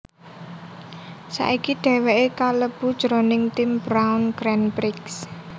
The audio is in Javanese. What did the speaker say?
Saiki dhèwèké kalebu jroning tim Brawn Grand Prix